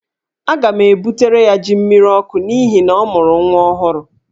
Aga m ebutere ya jí mmiriọkụ n'ihi na ọ mụrụ nwa ọhụrụ.